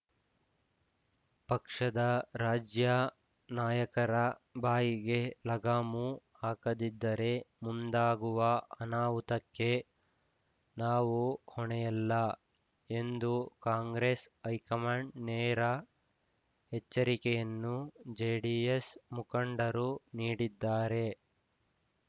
ಪಕ್ಷದ ರಾಜ್ಯ ನಾಯಕರ ಬಾಯಿಗೆ ಲಗಾಮು ಹಾಕದಿದ್ದರೆ ಮುಂದಾಗುವ ಅನಾಹುತಕ್ಕೆ ನಾವು ಹೊಣೆಯಲ್ಲ ಎಂದು ಕಾಂಗ್ರೆಸ್‌ ಹೈಕಮಾಂಡ್‌ಗೆ ನೇರ ಎಚ್ಚರಿಕೆಯನ್ನು ಜೆಡಿಎಸ್‌ ಮುಖಂಡರು ನೀಡಿದ್ದಾರೆ